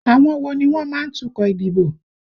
Àwọn wo ni wọ́n má ń tukọ̀ ìdìbò?